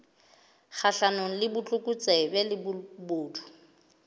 kgahlanong le botlokotsebe le bobodu